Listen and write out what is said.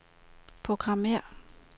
programmér